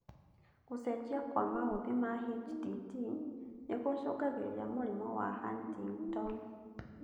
Gũcenjia kwa maũthĩ ma HTT nĩgũcũngagĩrĩria mũrimũ wa Huntington